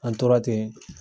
An tora ten